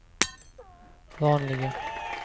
vanliga